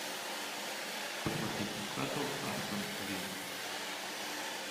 посмотреть ньюкасл астон вилла